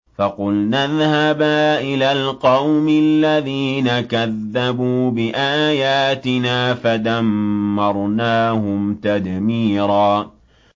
فَقُلْنَا اذْهَبَا إِلَى الْقَوْمِ الَّذِينَ كَذَّبُوا بِآيَاتِنَا فَدَمَّرْنَاهُمْ تَدْمِيرًا